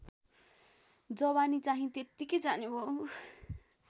जवानीचाहिँ त्यत्तिकै जानेभो